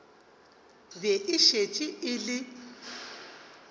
be e šetše e le